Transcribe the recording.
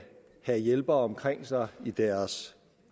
have hjælpere omkring sig i deres